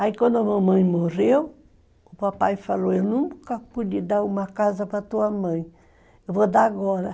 Aí, quando a mamãe morreu, o papai falou, eu nunca pude dar uma casa para tua mãe, eu vou dar agora.